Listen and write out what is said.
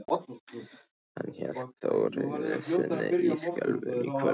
Hann hélt þó reiði sinni í skefjum til kvölds.